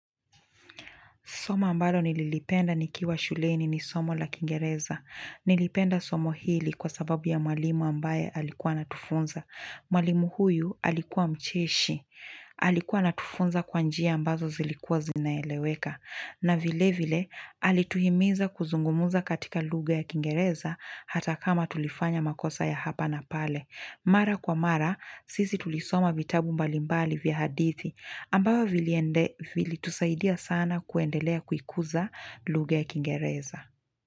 Somo ambalo nililipenda nikiwa shuleni ni somo la Kingereza. Nilipenda somo hili kwa sababu ya mwalimu ambaye alikuwa anatufunza. Mwalimu huyu alikuwa mcheshi. Alikuwa anatufunza kwa njia ambazo zilikuwa zinaeleweka. Na vile vile, alituhimiza kuzungumza katika lugha ya Kingereza hata kama tulifanya makosa ya hapa na pale. Mara kwa mara, sisi tulisoma vitabu mbalimbali vya hadithi. Ambavyo viliendelea, vilitusaidia sana kuendelea kuikuza lugha Kingereza.